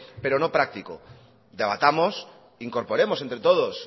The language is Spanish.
pero no práctico debatamos incorporemos entre todos